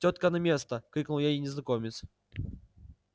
тётка на место крикнул ей незнакомец